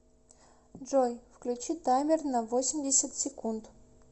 джой включи таймер на восемьдесят секунд